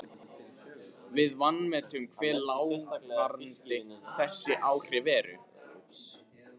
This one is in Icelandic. Við vanmetum hve langvarandi þessi áhrif eru.